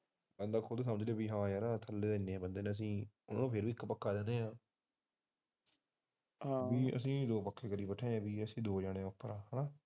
ਉਹ ਖੁਦ ਨੀ ਸਮਝਦੇ ਯਾਰ ਵੀ ਹਾ ਥੱਲੇ ਤਾਂ ਐਨੇ ਬੰਦੇ ਰਹਿੰਦੇ ਅਸੀਂ ਫਿਰ ਵੀ ਇੱਕ ਪੱਖਾ ਦਿੰਦੇ ਹਾਂ ਅਸੀਂ ਦੋ ਪੱਖੇ ਕਰੀ ਬੈਠੇ ਐ ਅਸੀਂ ਦੋ ਜਾਣੇ